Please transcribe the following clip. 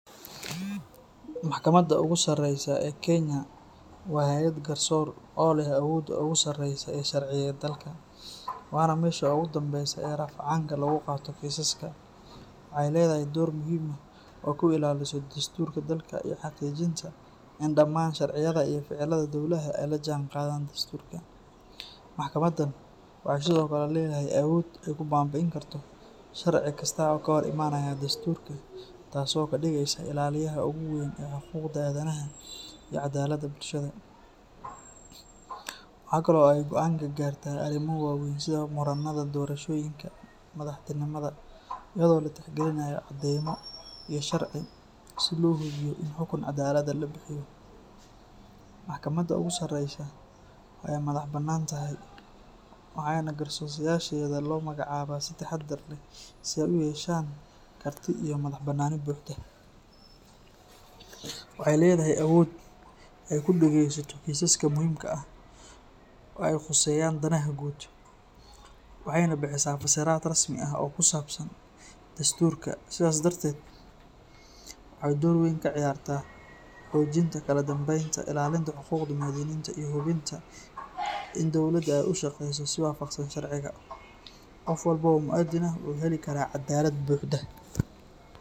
Mahkamada ogu sareyso ee kenya wa hayaad ogusareyso ee dalka wana mesha ogucanka ah laguqabto kisaska, wahay ledahay door muxiim ah oo kuilalisa dasturka dalka iyo hijinta daman sharciyada iyo focilaha dowlada ay lajangadaan dasturka, maskamadan waxay Sidhokale ledahay awoda babiinkarto sharci kasta oo kahor imanayo dasturka taas oo kafigrusa ilaliya oguweyn ee adanadaha iyobcadalada bulshada, wahakalo au goan kugarta atimo wawen sidha cadema iyo sharci si mahkamad lolagaro, wahakalo ay madah banantahay wahayna qarsoshayadha kobagac cawaa si tahadaer leh siday u yeshan karti iyo madah banani buhda, wahay ledahay awod ay kudageysato kisaska muxiimka ah ay qusayan danaha guud, wahayna bihisa fasirat rasmi ah oo kusabsan dasturka sidha darded waxay door weyn kaciyarta hoginta kaladambeynta ilalinta hugudda muwadininta iyo in dowldada ay ushageyso si wafagsan sharciga gofwaln oo muwadiin ah wuxu helikara cadalad buxda.